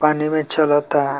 पानी में चलता।